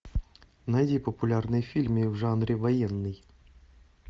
найди популярные фильмы в жанре военный